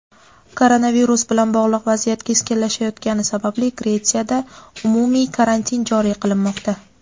Koronavirus bilan bog‘liq vaziyat keskinlashayotgani sababli Gretsiyada umumiy karantin joriy qilinmoqda.